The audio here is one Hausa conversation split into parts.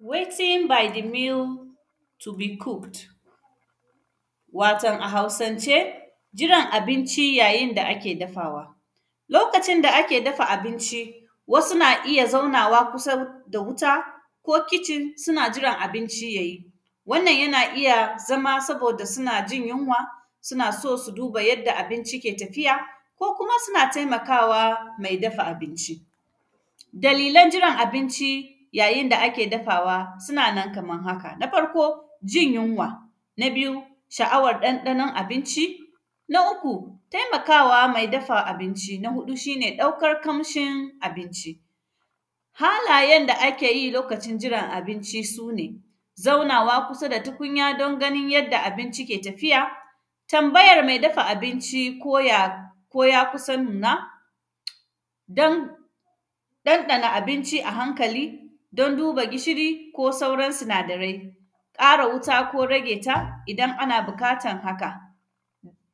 “Waiting by the meal to be cooked”, waton a Hausance, jiran abinci yayin da ake dafawa. Lokacin da ake dafa abinci, wasu na iya zaunawa kusa da wuta ko kicin, suna jiran abinci ya yi. Wannan, yana iya zama saboda suna jin yunwa, suna so su duba yadda abinci ke tafiya ko kuma suna temaka wa me dafa abinci. Dalilan jiran abinci yayin da ake dafawa, suna nan kaman haka, na farko, jin yinwa, na biyu, sha’awar ɗanɗanon abinci, na uku, temaka wa me dafa abinci. Na huɗu, shi ne ɗaukar kamshin abinci. Halayen da ake yi lokacin jiran abinci, su ne, zaunawa kusa da tukinya don ganin yadda abinci ke tafiya, tambayar me dafa abinci ko ya, ko ya kusa nuna, don; ɗanɗana abinci a hankali don duba gishiri ko sauran sinadarai, ƙara wuta ko rage ta idan ana biƙatan haka.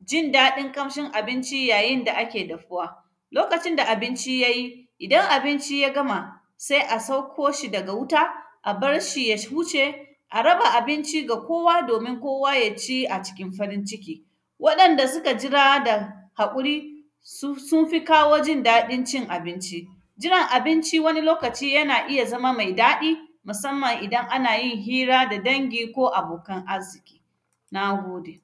Jin daɗin ƙamshin abinci yayin da ake dafuwa. Lokacin da abinci ya yi, idan abinci ya gama, se a sakko shi daga wuta, a bar shi ya huce, a raba abinci ga kowa domin kowa ya ci a cikin farin ciki. Waɗanda sika jira da haƙuri, sun; sun fi kawo jin daɗin cin abinci. Jiran abinci wani lokaci yana iya zama mai daɗi, masamman idan ana yin hira da dangi ko abokan arziƙi, na gode.